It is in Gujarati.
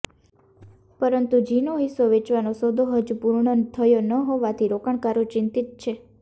પરંતુ ઝીનો હિસ્સો વેચવાનો સોદો હજુ પૂર્ણ થયો ન હોવાથી રોકાણકારો ચિંતિત છે